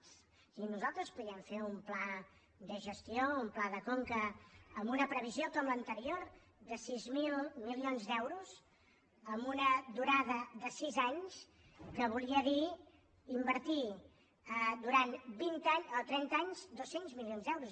és a dir nosaltres podíem fer un pla de gestió un pla de conca amb una previsió com l’anterior de sis mil milions d’euros amb una durada de sis anys que volia dir invertir durant trenta anys dos cents milions d’euros